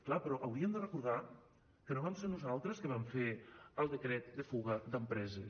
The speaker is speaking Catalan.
clar però haurien de recordar que no vam ser nosaltres que vam fer el decret de fuga d’empreses